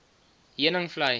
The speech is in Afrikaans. heuningvlei